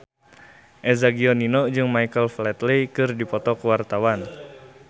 Eza Gionino jeung Michael Flatley keur dipoto ku wartawan